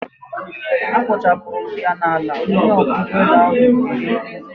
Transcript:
A kpochapụrụ ya n'ala!onye ọkwọ ụgbọelu ahụ tiri mkpu.